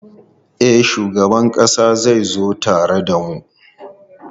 E, shugaban ƙasa zai zo tare da mu.